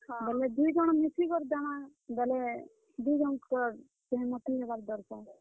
ଆମେ ଦୁହିଁ ଜଣ ମିଶି କି ଦେମା ବେଲେ, ଦୁହିଁ ଜଣଙ୍କର, ସହମତି ହେବାର୍ ଦରକାର୍।